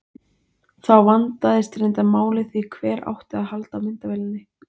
Þá vandaðist reyndar málið því hver átti að halda á myndavélinni?